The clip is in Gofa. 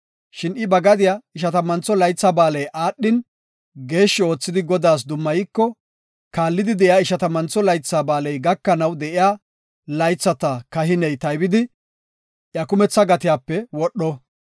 Shin I ba gadiya Ishatammantho Laytha Ba7aaley aadhin, geeshshi oothidi Godaas dummayiko, kaallidi de7iya Ishatammantho Laytha Ba7aaley gakanaw de7iya laythata kahiney taybidi, iya kumetha gatiyape wodho.